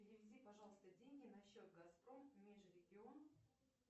переведи пожалуйста деньги на счет газпром межрегион